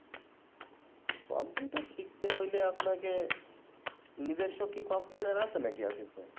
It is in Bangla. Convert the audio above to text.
Computer শিখতে হইলে আপনাকে, নিজস্ব কী Computer আছে নাকি আসিফ ভাই?